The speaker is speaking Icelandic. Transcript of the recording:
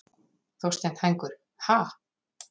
Þorsteinn Hængur: Ha?